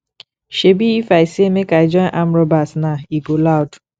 shebi if i say make i join armed robbers now e go loud